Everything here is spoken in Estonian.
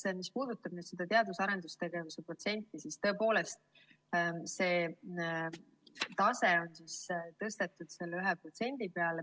Teiseks, mis puudutab teadus‑ ja arendustegevuse protsenti, siis tõepoolest, see tase on tõstetud 1% peale.